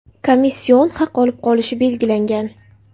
komission haq olib qolishi belgilangan.